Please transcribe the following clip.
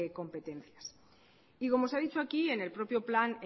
competencias y como se ha dicho aquí en el propio plan